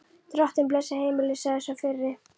Drottinn blessi heimilið, sagði sá fyrri.